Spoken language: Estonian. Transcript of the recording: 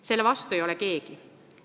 Selle vastu ei ole keegi.